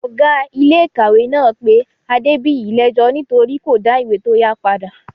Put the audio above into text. Ọ̀gá iléèkàwé náà pé Adébìyí lẹ́ẹ́jọ́ nítorí kò dá ìwé tó yá padà